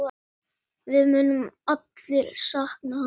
Við munum allir sakna hans.